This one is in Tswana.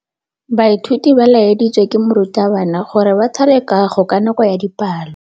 Baithuti ba laeditswe ke morutabana gore ba thale kagô ka nako ya dipalô.